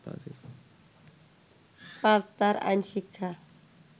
পাজ তার আইন শিক্ষা